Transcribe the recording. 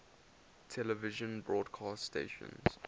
television broadcast stations